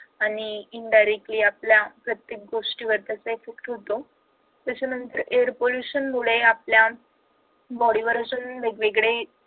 आणि indirectly आपल्या प्रत्येक गोष्टीवर त्याचा effect होतो त्याच्यानंतर air pollution मुळे आपल्या body वर असे वेगवेगळे